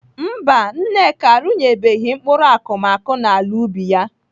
Mba, Nneka arụnyebeghị mkpụrụ akụmakụ n'ala ubi ya.